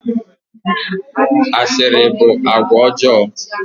Asịrị bụ àgwà ọjọọ.